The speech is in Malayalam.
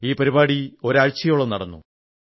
ഈ പരിപാടി ഒരാഴ്ചയോളം നടന്നു